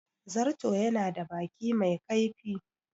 Zarto ya na da baki mai kaifi